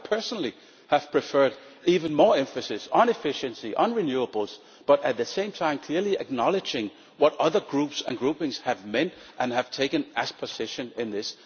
I would personally have preferred even more emphasis on efficiency and on renewables, but at the same time clearly acknowledging what other Groups and groupings have meant and have taken as a position on this.